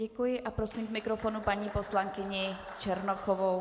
Děkuji a prosím k mikrofonu paní poslankyni Černochovou.